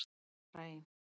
Bara ein!